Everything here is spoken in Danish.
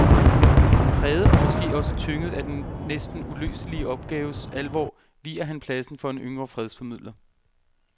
Præget og måske også tynget af den næsten uløselige opgaves alvor viger han pladsen for en yngre fredsformidler.